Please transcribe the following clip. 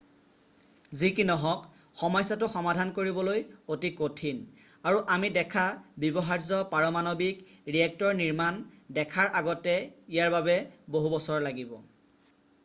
যি কি নহওক সমস্যাটো সমাধান কৰিবলৈ অতি কঠিন আৰু আমি দেখা ব্যৱহাৰ্য পাৰমানৱিক ৰিয়েক্টৰ নিৰ্মাণ দেখাৰ আগতে ইয়াৰ বাবে বহু বছৰ লাগিব